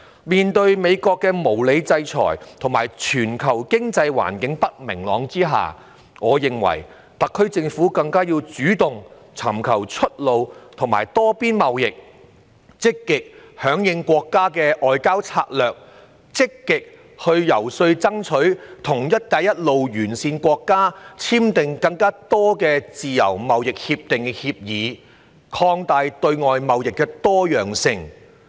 面對美國的無理制裁和全球不明朗的經濟環境，我認為特區政府更要主動尋求出路和多邊貿易，積極響應國家的外交策略，積極進行遊說工作，爭取與"一帶一路"沿線國家簽訂更多自由貿易協定的協議，擴大對外貿易的多樣性。